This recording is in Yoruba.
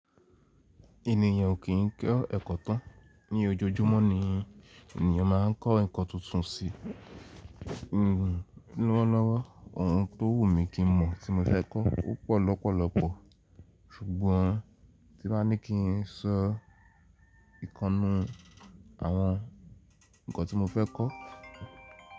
Ènìyàn ò kí ń ko ẹ̀kọ́ tán. Ni ojoojúmọ́ ni ènìyàn máa ń kọ́ ǹkan tuntun sí lọ́wọ́ lọ́wọ́. Ohun tó wù mí kí mọ̀ tí mo fẹ́ kọ́ ó pọ̀ lọ́pọ̀lọpọ̀, ṣùgbọ́n tí bá ní kí n sọ ìkannu àwọn ǹkan tí mo fẹ́ kọ́.